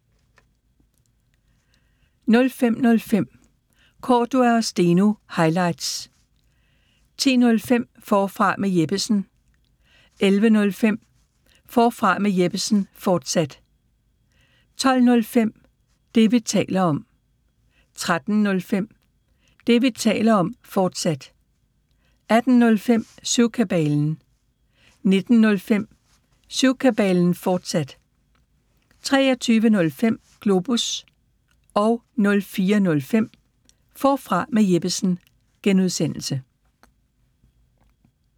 05:05: Cordua & Steno – highlights 10:05: Forfra med Jeppesen 11:05: Forfra med Jeppesen, fortsat 12:05: Det, vi taler om 13:05: Det, vi taler om, fortsat 18:05: Syvkabalen 19:05: Syvkabalen, fortsat 23:05: Globus 04:05: Forfra med Jeppesen (G)